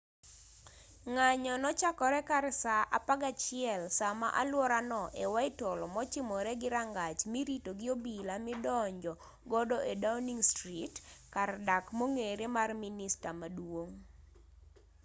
ng'anyo nochako kar saa 11.00 saa ma aluora no utc+1 e whitehall mochimore gi rangach mirito gi obila midonjo godo e downing street kar dak mong'ere mar minista maduong'